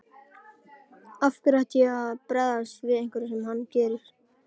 Af hverju ætti ég að bregðast við einhverju sem hann gerir.